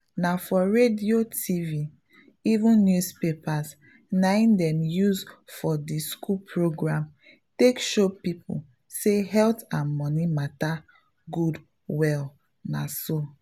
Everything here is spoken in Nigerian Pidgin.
na for radio tv even newspapers ney dem use for d school program take show people say health and money matter good well na so.